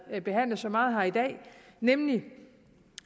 behandlet så meget her i dag nemlig